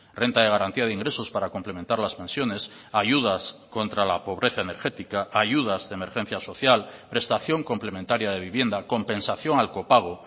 renta de garantía de ingresos para complementar las pensiones ayudas contra la pobreza energética ayudas de emergencia social prestación complementaria de vivienda compensación al copago